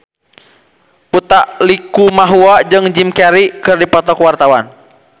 Utha Likumahua jeung Jim Carey keur dipoto ku wartawan